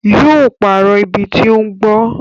Yó pàrọ̀ ibi tí ó ń gbó